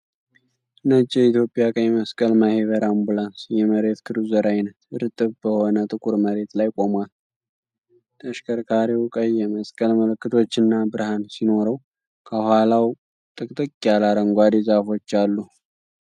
ነጭ የኢትዮጵያ ቀይ መስቀል ማህበር አምቡላንስ (የመሬት ክሩዘር አይነት) እርጥብ በሆነ ጥቁር መሬት ላይ ቆሟል። ተሽከርካሪው ቀይ የመስቀል ምልክቶችና ብርሃን ሲኖረው ከኋላው ጥቅጥቅ ያለ አረንጓዴ ዛፎች አሉ።